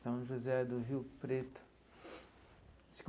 São José do Rio Preto.